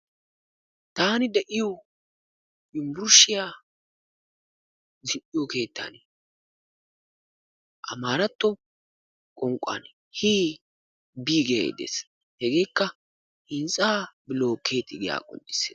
taani de'iyo yunburshshiya keexxiyo keettan ammaratto qonqan Hii bii giyo xuupee hintsaa bilookeeti yaagiyogaa.